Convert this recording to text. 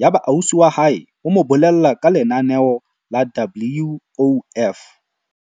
Yaba ausi wa hae o mo bolella ka lenaneo la WOF.